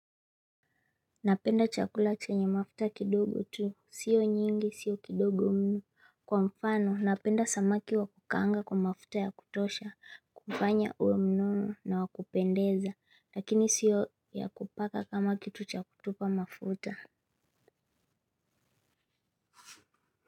Napenda chakula chenye mafuta kidogo tu. Sio nyingi sio kidogo mno. Kwa mfano napenda samaki wa kukaanga kwa mafuta ya kutosha kukufanya uwe mnono na wa kupendeza lakini sio ya kupaka kama kitu cha kutupa mafuta.